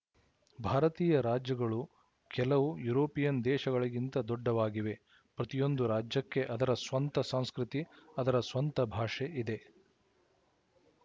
ಭಾರತೀಯ ರಾಜ್ಯಗಳು ಕೆಲವು ಯುರೋಪಿಯನ್ ದೇಶಗಳಿಗಿಂತ ದೊಡ್ಡವಾಗಿವೆ ಪ್ರತಿಯೊಂದು ರಾಜ್ಯಕ್ಕೆ ಅದರ ಸ್ವಂತ ಸಂಸ್ಕೃತಿ ಅದರ ಸ್ವಂತ ಭಾಷೆ ಇದೆ